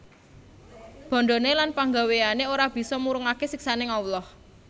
Bandhané lan panggawéyané ora bisa murungaké siksaning Allah